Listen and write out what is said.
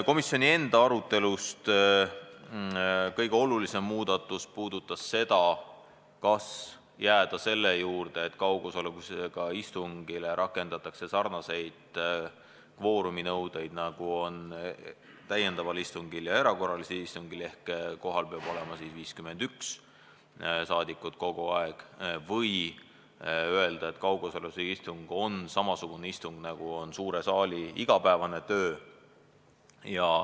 Komisjoni enda arutelust kõige olulisem muudatus puudutas küsimust, kas jääda selle juurde, et kaugosalusega istungile rakendatakse sarnaseid kvooruminõudeid, nagu on täiendaval istungil ja erakorralisel istungil – kohal peab olema kogu aeg 51 rahvasaadikut –, või öelda, et kaugosalusega istung on samasugune nagu suure saali igapäevane töö.